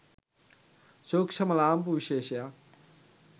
සූක්ෂ්ම ලාම්පු විශේෂයක්